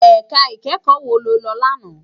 Èká ikèékò wó ló lò làná?